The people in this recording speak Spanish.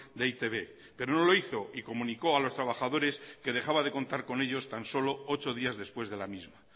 de e i te be pero no lo hizo y comunicó a los trabajadores que dejaba de contar con ellos tan solo ocho días después de la misma